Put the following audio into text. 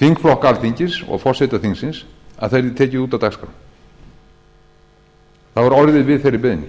þingflokka alþingis og forseta þingsins að það yrði tekið út af dagskrá það var orðið við þeirri beiðni